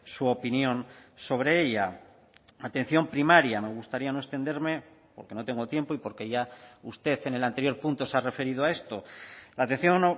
su opinión sobre ella atención primaria me gustaría no extenderme porque no tengo tiempo y porque ya usted en el anterior punto se ha referido a esto la atención